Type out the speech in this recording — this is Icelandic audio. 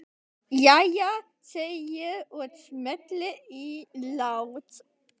Jæja, segi ég og smelli í lás.